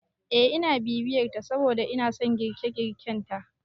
Eh ina bibiyar ta saboda inason girke- girken ta